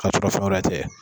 K'a sɔrɔ fɛn wɛrɛ tɛ